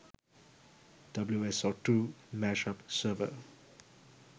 wso2 mashup server